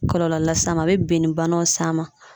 Kɔlɔlɔ las'a ma a bɛ binnibanaw s'a ma